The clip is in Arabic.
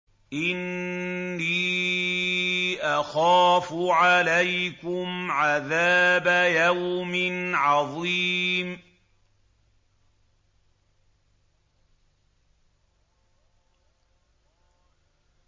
إِنِّي أَخَافُ عَلَيْكُمْ عَذَابَ يَوْمٍ عَظِيمٍ